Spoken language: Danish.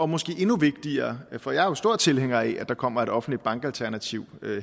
måske er endnu vigtigere er for jeg er jo stor tilhænger af at der kommer et offentligt bankalternativ